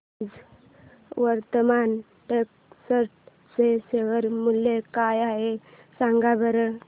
आज वर्धमान टेक्स्ट चे शेअर मूल्य काय आहे सांगा बरं